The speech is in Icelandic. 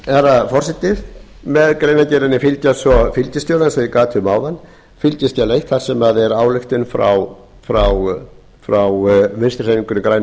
herra forseti með greinargerðinni fylgja svo fylgiskjal eins og ég gat um áðan fylgiskjal eitt þar sem er ályktun frá vinstri hreyfingunni grænu